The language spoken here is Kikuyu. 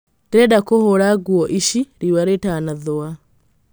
Ndĩrenda kũhũra nguo ici riũa rĩtanathũa.